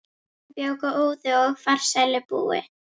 Hann bjó góðu og farsælu búi.